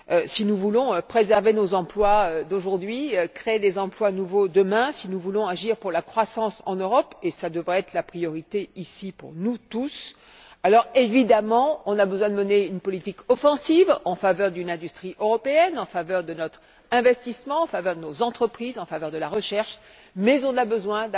Si nous voulons préserver nos emplois d'aujourd'hui, créer des emplois nouveaux demain, si nous voulons agir pour la croissance en Europe et cela devrait être la priorité pour nous tous ici nous devons bien entendu mener une politique offensive en faveur de l'industrie européenne, en faveur de nos investissements, en faveur de nos entreprises, en faveur de la recherche, mais avons aussi besoin